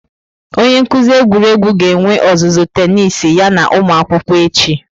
Onye nkuzi egwuregwu ga-enwe ọzụzụ tenisi ya na ụmụ akwụkwọ echi.